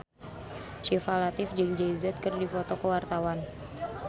Syifa Latief jeung Jay Z keur dipoto ku wartawan